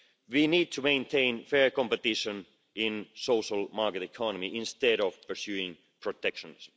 We need to maintain fair competition in the social market economy instead of pursuing protectionism.